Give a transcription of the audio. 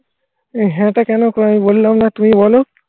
হ্যাঁ টা কেন আমি বললাম না তুমি বলো?